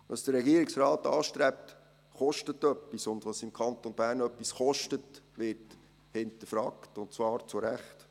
Was der Regierungsrat anstrebt, kostet etwas, und was im Kanton Bern etwas kostet, wird hinterfragt, und zwar zurecht.